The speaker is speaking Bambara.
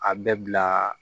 A bɛɛ bila